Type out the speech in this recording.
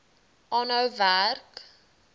aanhou werk